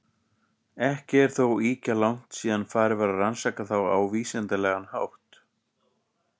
Ekki er þó ýkja langt síðan farið var að rannsaka þá á vísindalegan hátt.